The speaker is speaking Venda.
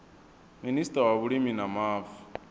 minista wa vhulimi na mavu